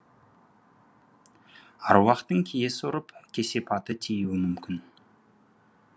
аруақтың киесі ұрып кесепаты тиюі мүмкін